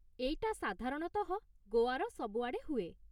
ଏଇଟା, ସାଧାରଣତଃ, ଗୋଆର ସବୁଆଡ଼େ ହୁଏ ।